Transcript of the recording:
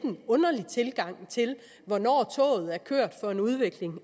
underlig tilgang til hvornår toget er kørt for en udvikling